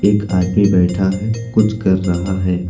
एक आदमी बैठा है कुछ कर रहा है।